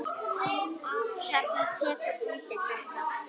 Hrefna tekur undir þetta.